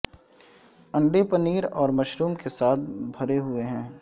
انڈے پنیر اور مشروم کے ساتھ بھرے ہوئے ہیں